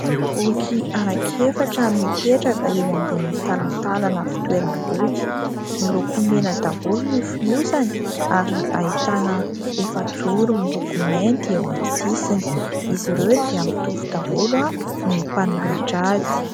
Boky anaky efatra mipetraka eo ambony talantalana fitoeram-boky, miloko mena Daholo ny fonosany ary ahitana efajoro miloko mainty eo aminy sisiny. Izy ireo dia mitovy daholo ny mpanoratra azy.